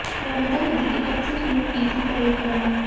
नर्मदा नदी के तट से शुरू की थी परिक्रमा